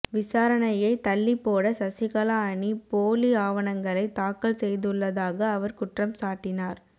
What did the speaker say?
விசாரணையை தள்ளிப்பேட சசிகலா அணி போலி ஆவணங்களை தாக்கல் செய்துள்ளதாக அவர் குற்றம் சாட்டினார்